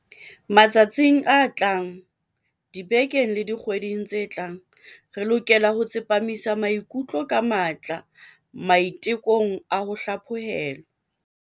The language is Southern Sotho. Matsatsing a tlang, dibekeng le dikgweding tse tlang, re lokela ho tsepamisa maikutlo ka matla maite kong a ho hlaphohelwa.